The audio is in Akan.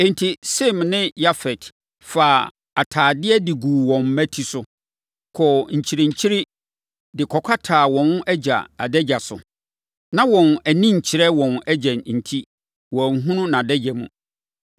Enti, Sem ne Yafet faa atadeɛ de guu wɔn mmati so, kɔɔ nkyirinkyire de kɔkataa wɔn agya adagya so. Na wɔn ani nkyerɛ wɔn agya enti, wɔanhunu nʼadagya mu.